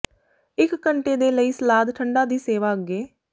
ਇੱਕ ਘੰਟੇ ਦੇ ਲਈ ਸਲਾਦ ਠੰਡਾ ਦੀ ਸੇਵਾ ਅੱਗੇ